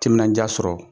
Timinandiya sɔrɔ